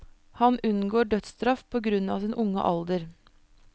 Han unngår dødsstraff på grunn av sin unge alder.